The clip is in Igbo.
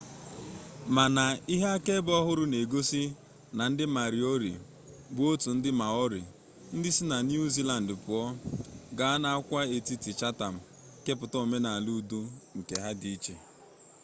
mana ihe akaebe ọhụrụ na-egosi na ndị mariori bụ otu ndị maori ndị si na niu ziland pụọ gaa n'agwaetiti chatham kepụta omenala udo nke ha di iche